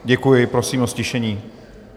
Děkuji, prosím o ztišení.